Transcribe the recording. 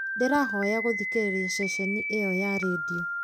ndĩrahoya gũthikĩrĩria ceceni ĩyo ya rĩndiũ